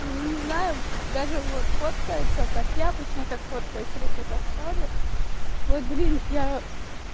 ну не знаю даже вот фотографируется так я обычно так фотографируюсь руки вот так ставлю вот блин я